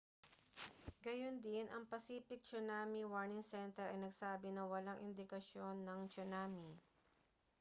gayundin ang pacific tsunami warning center ay nagsabi na walang indikasyon ng tsunami